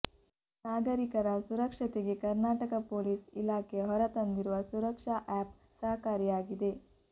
ನಾಗರಿಕರ ಸುರಕ್ಷತೆಗೆ ಕರ್ನಾಟಕ ಪೊಲೀಸ್ ಇಲಾಖೆ ಹೊರತಂದಿರುವ ಸುರಕ್ಷಾ ಆ್ಯಪ್ ಸಹಕಾರಿಯಾಗಿದೆ